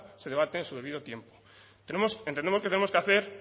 se debate a su debido tiempo entendemos que tenemos que hacer